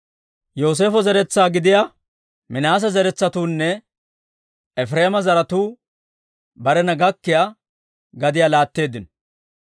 Yooseefo zeretsaa gidiyaa Minaase zaratuunne Efireema zaratuu barena gakkiyaa gadiyaa laatteeddino.